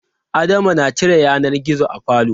Adama na cire yanar gizo a falo.